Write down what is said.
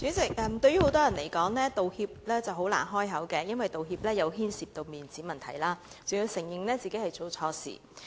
主席，對於很多人來說，道歉難以開口，因為道歉牽涉面子問題，還要承認自己做錯事。